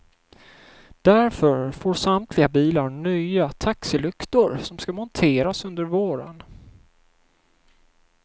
Därför får samtliga bilar nya taxilyktor som ska monteras under våren.